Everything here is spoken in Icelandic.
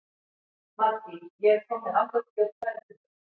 Maddý, ég kom með áttatíu og tvær húfur!